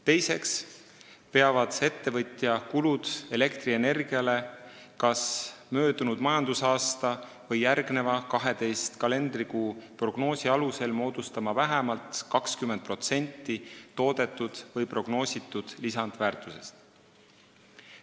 Teiseks peavad ettevõtja kulutused elektrienergiale kas möödunud majandusaastal või järgneva 12 kalendrikuu prognoosi alusel moodustama vähemalt 20% toodetud või prognoositud lisandväärtusest.